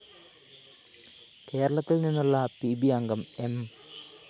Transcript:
കേരളത്തില്‍ നിന്നുള്ള P B അംഗം എം